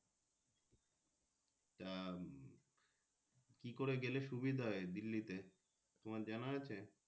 কি করে গেলে সুবিধা হয় দিল্লিতে তোমার জানা আছে।